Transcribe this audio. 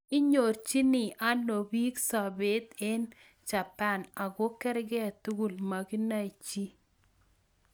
Nyorchiin anoo piik sobep eng japan ago kerkei tugul ...makinae chii